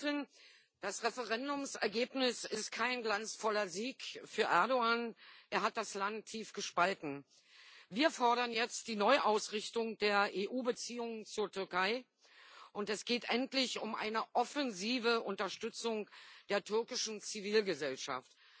Frau Präsidentin! Das Referendumsergebnis ist kein glanzvoller Sieg für Erdoğan er hat das Land tief gespalten. Wir fordern jetzt die Neuausrichtung der EU Beziehungen zur Türkei, und es geht endlich um eine offensive Unterstützung der türkischen Zivilgesellschaft.